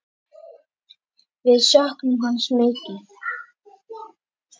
Við söknum hans mikið.